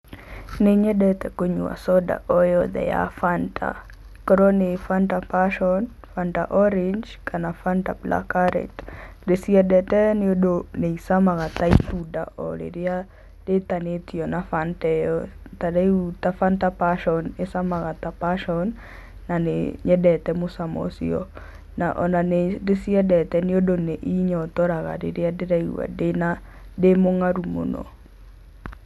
Nĩ nyendete kũnyua soda o yothe ya Fanta, ĩkorwo nĩ Fanta passion, Fanta Orange, kana Fanta black current. Ndĩciendete nĩ ũndũ nĩ ĩcamaga ta ĩtunda o rĩrĩa rĩtanĩtio na Fanta ĩyo. Tarĩu ta Fanta passion ĩcamaga ta passion, na nĩ nyendete mũcamo ũcio. Na ona nĩ ndĩciendete nĩ ũndũ nĩ ĩnyotoraga rĩrĩa ndĩraigua ndĩ mũng'aru mũno.